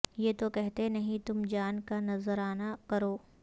یہ تو کہتے نہیں تم جان کا نذرانہ کرو